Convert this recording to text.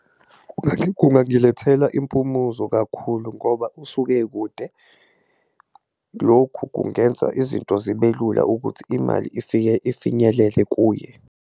Kungangilethela impumuzo kakhulu ngoba usuke ekude, lokhu kungenza izinto zibe lula ukuthi imali ifinyelele kuye.